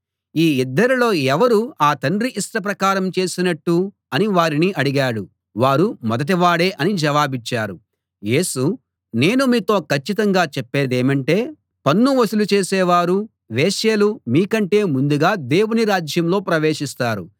ఈ ఇద్దరిలో ఎవరు ఆ తండ్రి ఇష్టప్రకారం చేసినట్టు అని వారిని అడిగాడు వారు మొదటివాడే అని జవాబిచ్చారు యేసు నేను మీతో కచ్చితంగా చెప్పేదేమంటే పన్ను వసూలు చేసేవారు వేశ్యలు మీకంటే ముందుగా దేవుని రాజ్యంలో ప్రవేశిస్తారు